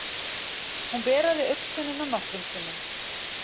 Hún beraði augntönnina nokkrum sinnum.